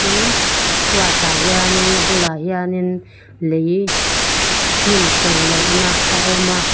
tin a chuatah hianin a bulah hianin lei hnim to loh nâ a awm a.